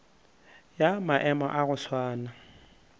ya maemo a go swana